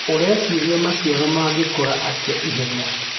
ũreciria maciaro mangĩkũra atĩa ihenya.